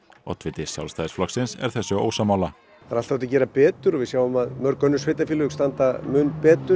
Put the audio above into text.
oddiviti Sjálfstæðisflokksins er þessu ósammála það er alltaf hægt að gera betur og við sjáum að mörg önnur sveitarfélög standa mun betur